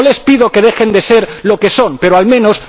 No les pido que dejen de ser lo que son, pero, al menos,